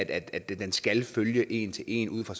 at den skal følge en til en ud fra